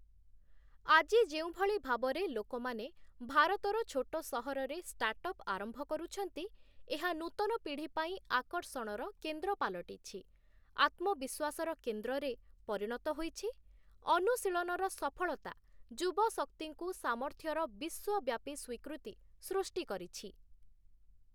ଆଜି ଯେଉଁଭଳି ଭାବରେ ଲୋକମାନେ ଭାରତର ଛୋଟ ସହରରେ ଷ୍ଟାର୍ଟଅପ୍‌ ଆରମ୍ଭ କରୁଛନ୍ତି, ଏହା ନୂତନ ପିଢ଼ି ପାଇଁ ଆକର୍ଷଣର କେନ୍ଦ୍ର ପାଲଟିଛି, ଆତ୍ମବିଶ୍ୱାସର କେନ୍ଦ୍ରରେ ପରିଣତ ହୋଇଛି, ଅନୁଶୀଳନର ସଫଳତା ଯୁବଶକ୍ତିଙ୍କୁ ସାମର୍ଥ୍ୟର ବିଶ୍ୱବ୍ୟାପୀ ସ୍ୱୀକୃତି ସୃଷ୍ଟି କରିଛି ।